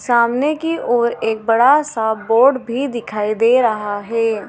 सामने की ओर एक बड़ा सा बोर्ड भी दिखाई दे रहा है।